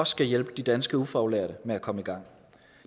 skal hjælpe de danske ufaglærte med at komme i gang